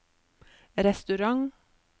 restaurant